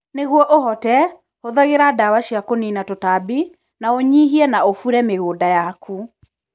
Nĩguo ũhote, hũthagĩra ndawa cia kũniina tũtambi, na ũnyihie na ũbure mĩgũnda yaku.